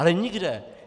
Ale nikde.